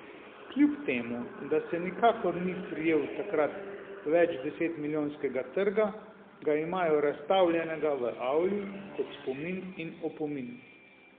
Kljub temu da se nikakor ni prijel takrat več deset milijonskega trga, ga imajo razstavljenega v avli, kot spomin in opomin.